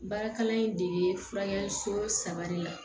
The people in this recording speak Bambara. Baara kalan in de bɛ furakɛli so saba de la